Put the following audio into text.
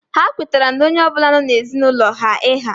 Ha kwetara na onye ọ bụla nọ n'ezinaulo ha iha